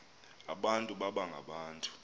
abantu baba ngabantu